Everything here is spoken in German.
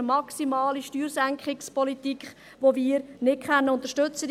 Es ist eine maximale Steuersenkungspolitik, welche wir nicht unterstützen können.